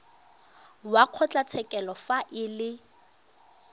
wa kgotlatshekelo fa e le